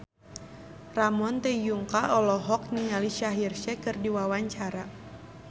Ramon T. Yungka olohok ningali Shaheer Sheikh keur diwawancara